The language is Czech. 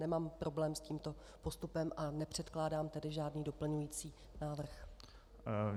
Nemám problém s tímto postupem, a nepředkládám tedy žádný doplňující návrh.